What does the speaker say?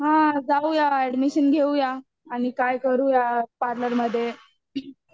हा जाऊया आणि एडमिशन घेऊया आणि काय करुया पार्लरमध्ये